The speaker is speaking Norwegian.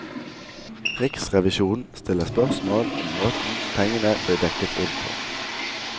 Riksrevisjonen stiller spørsmål om måten pengene ble dekket inn på.